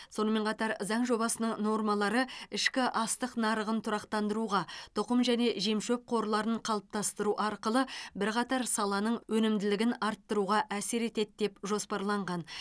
сонымен қатар заң жобасының нормалары ішкі астық нарығын тұрақтандыруға тұқым және жемшөп қорларын қалыптастыру арқылы бірқатар саланың өнімділігін арттыруға әсер етеді деп жоспарланған